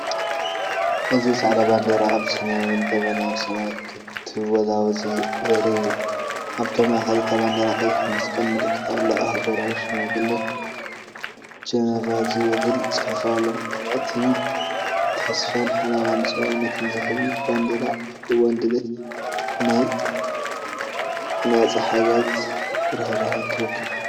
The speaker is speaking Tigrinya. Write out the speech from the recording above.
እዚ ጻዕዳ ባንዴራ ኣብ ሰማያውን ደበናውን ሰማይ ክትወዛወዝ ዘርኢ እዩ። ኣብ ማእከል እታ ባንዴራ ቀይሕ መስቀል ምልክት ኣሎ፣ "ኣህጉራዊ ሽማግለ ጀነቫ"ዝበል ፅሑፍ ኣሎ። እዚተስፋን ሓለዋን ሰብኣውነትን ዝህብ እዩ። ባንዴራ ኣብ እዋን ድሌት ናጻ ሓገዝን ርህራሄን ትውክል።